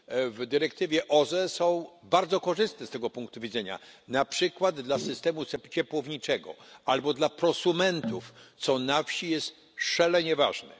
w dyrektywie OZE są bardzo korzystne z tego punktu widzenia, na przykład dla systemu ciepłowniczego albo dla prosumentów, co na wsi jest szalenie ważne.